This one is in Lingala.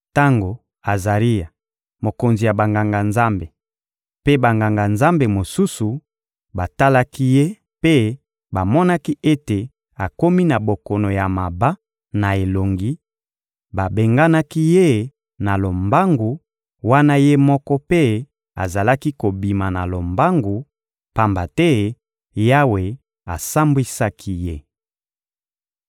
Tango Azaria, mokonzi ya Banganga-Nzambe, mpe Banganga-Nzambe mosusu batalaki ye mpe bamonaki ete akomi na bokono ya maba na elongi, babenganaki ye na lombangu wana ye moko mpe azalaki kobima na lombangu, pamba te Yawe asambwisaki ye. (2Ba 15.5-7)